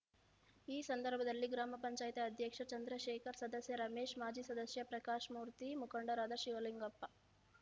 ಈ ಸಂದರ್ಭದಲ್ಲಿ ಗ್ರಾಮ ಪಂಚಾಯತ ಅಧ್ಯಕ್ಷ ಚಂದ್ರಶೇಖರ್ ಸದಸ್ಯ ರಮೇಶ್ ಮಾಜಿ ಸದಸ್ಯ ಪ್ರಕಾಶ್‌ಮೂರ್ತಿ ಮುಖಂಡರಾದ ಶಿವಲಿಂಗಪ್ಪ